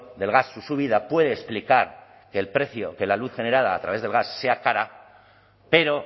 del gas o subida puede explicar que el precio que la luz general a través del gas sea cara pero